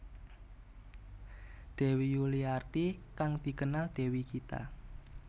Dewi Yuliarti kang dikenal Dewi Gita